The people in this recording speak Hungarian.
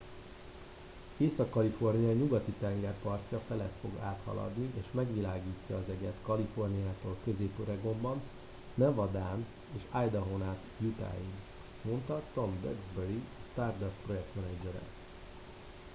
észak kalifornia nyugati tengerpartja felett fog áthaladni és megvilágítja az eget kaliforniától közép oregonon nevadán és idahón át utahig mondta tom duxbury a stardust projektmenedzsere